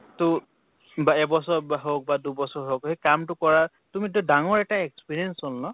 তʼ বা এবছৰ হৌক বা দুবছৰ হৌক, সেই কামটো কৰা ৰ তুমি তো ডাঙৰ এটা experience হʼল ন ?